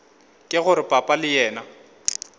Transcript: ke gore papa le yena